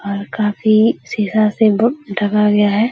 और काफी सीधा से ब ढका गया है।